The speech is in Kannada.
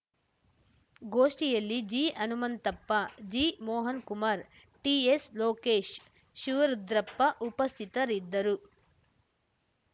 ಗೋಷ್ಠಿಯಲ್ಲಿ G Hanumanthappa G Mohan Kumar T S Lokesh Shivarudrappa ಉಪಸ್ಥಿತರಿದ್ದರು